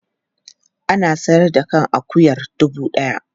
Ana sayar da kan akuyar dubu ɗaya.